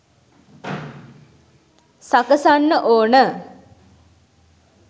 සකසන්න ඕන